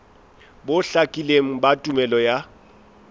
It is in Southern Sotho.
bo hlakileng ba tumello ya